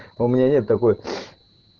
у меня нет такой